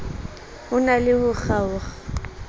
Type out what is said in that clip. ho na le ho kgaokg